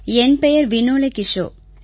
என் பெயர் வினோலே கிஸோ நான்